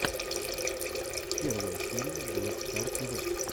первая серия блэк стар тв